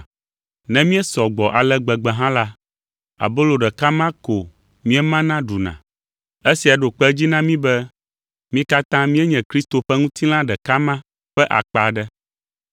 Ne míesɔ gbɔ ale gbegbe hã la, abolo ɖeka ma ko míemana ɖuna. Esia ɖo kpe edzi na mí be mí katã míenye Kristo ƒe ŋutilã ɖeka ma ƒe akpa aɖe.